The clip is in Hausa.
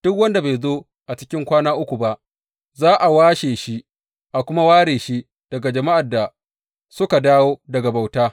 Duk wanda bai zo a cikin kwana uku ba, za a washe shi, a kuma ware shi daga jama’ar da suka dawo daga bauta.